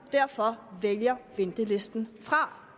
og derfor vælger ventelisten fra